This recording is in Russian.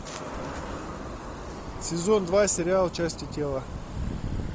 сезон два сериал части тела